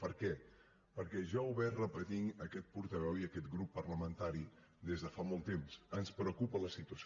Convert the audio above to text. per què perquè ja ho hem repetit aquest portaveu i aquest grup parlamentari des de fa molt temps ens preocupa la situació